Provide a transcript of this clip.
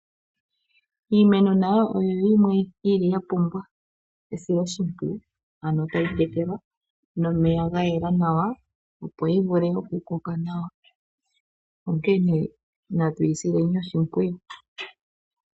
Iimeno nayo oyo yimwe ya pumbwa esiloshimpwiyu, ano tayi tekelwa nomeya ga yela nawa, opo yi vule okukoka nawa, onkene natu yi sileni oshimpwiyu.